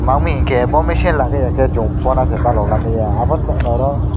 ma wngmi khe bo mechine lagaya ke Chong pora ke palok lamaya aboni bagoi no aro.